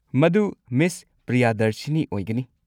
ꯃꯗꯨ ꯃꯤꯁ ꯄ꯭ꯔꯤꯌꯥꯗꯔꯁꯤꯅꯤ ꯑꯣꯏꯒꯅꯤ꯫